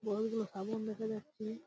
বড়ো বড়ো আগুন দেখা যাচ্ছে।